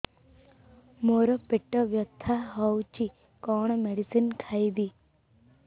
ମୋର ପେଟ ବ୍ୟଥା ହଉଚି କଣ ମେଡିସିନ ଖାଇବି